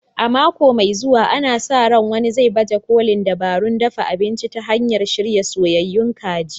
A mako mai zuwa, ana sa ran wani zai baje kolin dabarun dafa abinci ta hanyar shirya soyayyun kaji.